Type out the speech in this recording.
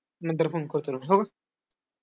नंतर phone करतो तुला.